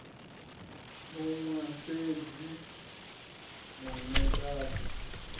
huṅwe fhedzi maanea a ḓi